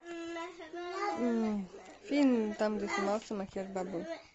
фильм там где снимался